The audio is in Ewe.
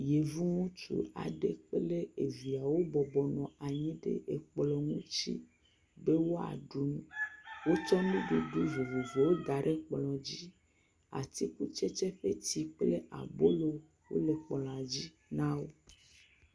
Yevu ŋutsu aɖe kple evie wo bɔbɔ nɔ anyi ɖe ekplɔ̃ ŋutsi be woaɖu nu. Wotsɔ nuɖuɖu vovovowo da ɖe kplɔ̃dzi. atikutsetse ƒe tsi kple abolo wole kplɔ̃a dzi na wo.